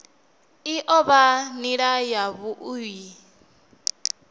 i o vha nila yavhui